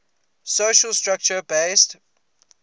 social structure based